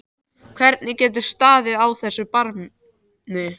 Hvernig getur staðið á þessu. barni?